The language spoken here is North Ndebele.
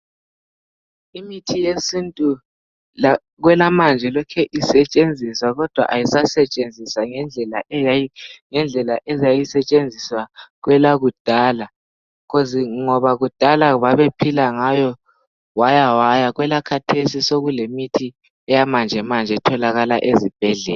Imithi yesintu kwelamanje ilokhu isetshenziswa kodwa ayisasetshenziswa ngendlela eyayisetshenziswa kwelakudala ngoba kudala babephila ngalo wawa elakhathesi sokulemithi eyamanjemanje etholakala ezibhedlela.